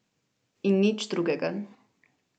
In nič drugega.